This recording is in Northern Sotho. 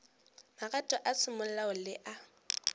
magato a semolao le a